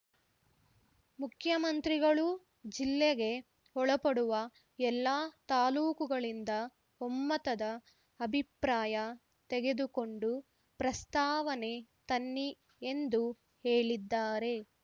ಮುಖ್ಯಮಂತ್ರಿಗಳೂ ಜಿಲ್ಲೆಗೆ ಒಳಪಡುವ ಎಲ್ಲ ತಾಲೂಕುಗಳಿಂದ ಒಮ್ಮತದ ಅಭಿಪ್ರಾಯ ತೆಗೆದುಕೊಂಡು ಪ್ರಸ್ತಾವನೆ ತನ್ನಿ ಎಂದು ಹೇಳಿದ್ದಾರೆ